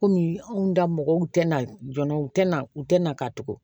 Kɔmi anw da mɔgɔw tɛna jɔn na u tɛ na u tɛ na ka tugu